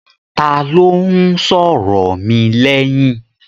Ta ló ń sọ̀rọ̀ mi lẹ́yìn?